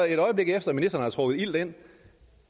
et øjeblik efter ministeren har trukket ilt ind